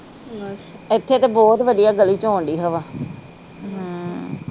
ਇੱਥੇ ਤਾ ਬਹੁਤ ਵਧੀਆ ਗਲੀ ਚ ਆਉਂਦੀ ਹਵਾ